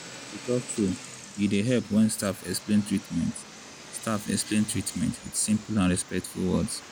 to talk true e dey help when staff explain treatment staff explain treatment with simple and respectful words.